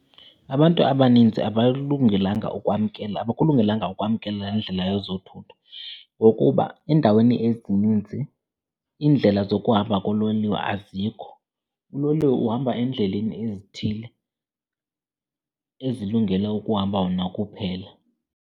Abantu abaninzi abalilungelanga ukwamkela, abakulungelanga ukwamkela le ndlela yezothutho ngokuba endaweni ezininzi iindlela zokuhamba kololiwe azikho. Uloliwe uhamba endleleni ezithile ezilungele ukuhamba wona kuphela.